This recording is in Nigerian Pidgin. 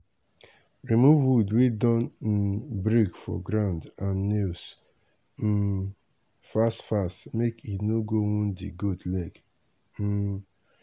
remove wood wey don um break for ground and nails um fast fast make e no go wound di goat leg. um